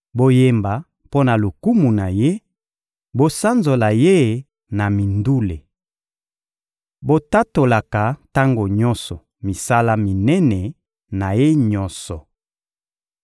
Boyemba mpo na lokumu na Ye, bosanzola Ye na mindule! Botatolaka tango nyonso misala minene na Ye nyonso!